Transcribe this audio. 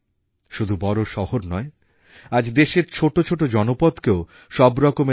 শিল্পায়নের এই জোয়ার শহর থেকেই উঠবে বলে মনে করতেন ডক্টর আম্বেদকর আর তাই দেশের নগরায়ন এর ওপর বিশেষভাবে ভরসা করতেন